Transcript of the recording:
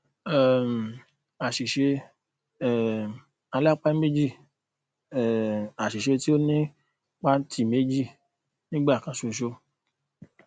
um àṣìṣe um alápá méjì um àṣìṣe tí ó nípaǹtì méjì nígbà kan ṣoṣo